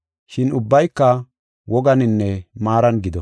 Shin ubbayka woganinne maaran gido.